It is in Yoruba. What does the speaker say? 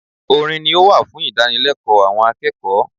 Orin ni ó wà fún ìdánilẹ́kọ̀ọ́ àwọn akẹ́kọ̀ọ́